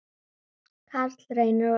Karl Reynir og Unnur.